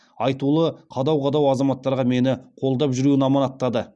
айтулы қадау қадау азаматтарға мені қолдап жүруін аманаттады